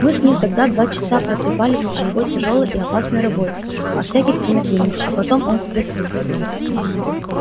мы с ним тогда два часа протрепались о его тяжёлой и опасной работе о всяких кинофильмах а потом он спросил